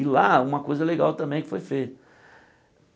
E lá, uma coisa legal também que foi feita.